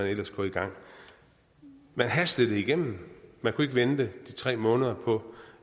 ellers gå i gang man hastede det igennem man kunne ikke vente de tre måneder på